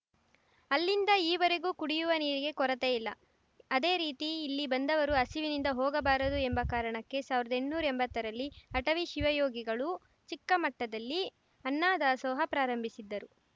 ಅಲ್ಲಿಂದ ಈವರೆಗೂ ಕುಡಿಯುವ ನೀರಿಗೆ ಕೊರತೆ ಇಲ್ಲ ಅದೇ ರೀತಿ ಇಲ್ಲಿ ಬಂದವರು ಹಸಿವಿನಿಂದ ಹೋಗಬಾರದು ಎಂಬ ಕಾರಣಕ್ಕೆ ಸಾವಿರ್ದಾ ಎಂಟ್ನೂರಾ ಎಂಬತ್ತರಲ್ಲಿ ಅಟವಿ ಶಿವಯೋಗಿಗಳು ಚಿಕ್ಕಮಟ್ಟದಲ್ಲಿ ಅನ್ನ ದಾಸೋಹ ಪ್ರಾರಂಭಿಸಿದ್ದರು